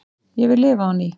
Ég vil lifa á ný